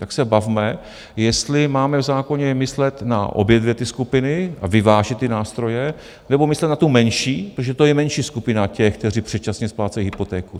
Tak se bavme, jestli máme v zákoně myslet na obě dvě ty skupiny a vyvážit ty nástroje, nebo myslet na tu menší, protože to je menší skupina těch, kteří předčasně splácejí hypotéku.